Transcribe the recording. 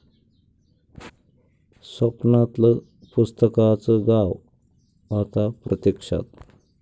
स्वप्नातलं पुस्तकांचं गाव आता प्रत्यक्षात...!